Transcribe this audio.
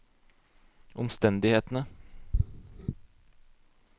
omstendighetene